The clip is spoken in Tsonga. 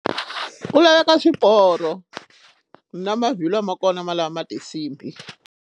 Ku laveka swiporo na mavhilwa ma kona ma lama ma tinsimbhi.